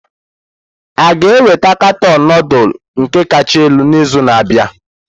A ga-enweta katọn nudulu nke kacha elu n'izu na-abịa?